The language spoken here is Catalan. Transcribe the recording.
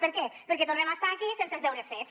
per què perquè tornem a estar aquí sense els deures fets